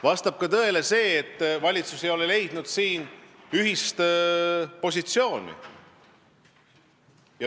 Vastab tõele ka see, et valitsus ei ole leidnud siin ühist positsiooni.